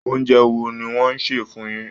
Oúnjẹ wo ni wọ́n sè fún yín?